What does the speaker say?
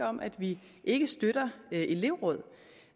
om at vi ikke støtter elevråd